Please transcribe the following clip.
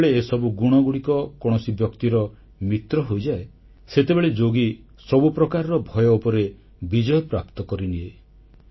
ଯେତେବେଳେ ଏସବୁ ଗୁଣଗୁଡ଼ିକ କୌଣସି ବ୍ୟକ୍ତିର ମିତ୍ର ହୋଇଯାଏ ସେତେବେଳେ ଯୋଗୀ ସବୁ ପ୍ରକାରର ଭୟ ଉପରେ ବିଜୟପ୍ରାପ୍ତ କରିନିଏ